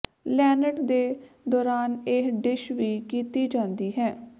Lent ਦੇ ਦੌਰਾਨ ਇਹ ਡਿਸ਼ ਵੀ ਕੀਤੀ ਜਾਂਦੀ ਹੈ